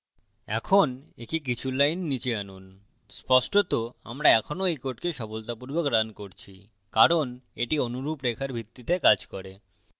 এখন একে কিছু lines নীচে আনুন স্পষ্টত আমরা এখনও এই code সফলতাপূর্বক রান করছি কারণ এটি অনুরূপ রেখার ভিত্তিতে কাজ করে